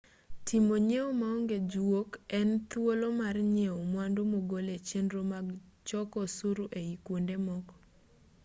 timo nyieo maonge juok en thuolo mar nyieo mwandu mogol e chenro mag choko osuru ei kwonde moko